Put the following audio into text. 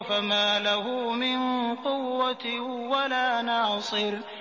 فَمَا لَهُ مِن قُوَّةٍ وَلَا نَاصِرٍ